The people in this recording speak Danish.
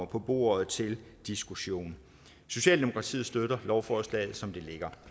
på bordet til diskussion socialdemokratiet støtter lovforslaget som det ligger